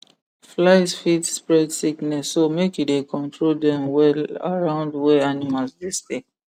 flies fit spread sickness so make you dey control dem well around where animals dey stay